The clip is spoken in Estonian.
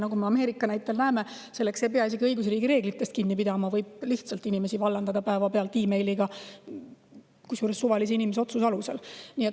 " Nagu me Ameerika näitel näeme, selleks ei pea isegi õigusriigi reeglitest kinni pidama, võib lihtsalt inimesi päevapealt meiliga vallandada, kusjuures suvalise inimese otsuse alusel.